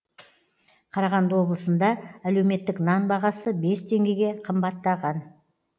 қарағанды облысында әлеуметтік нан бағасы бес теңгеге қымбаттаған